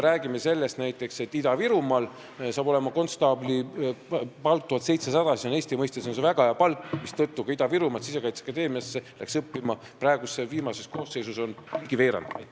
Näiteks hakkab Ida-Virumaal konstaabli palk olema 1700 eurot, mis on Eesti mõistes väga hea palk, mistõttu on praeguses Sisekaitseakadeemia koosseisus ligi veerand neid, kes on tulnud Ida-Virumaalt.